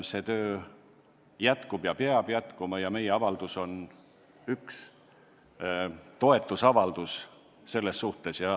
See töö jätkub ja peab jätkuma ning meie avaldus on üks toetusavaldus selles suunas.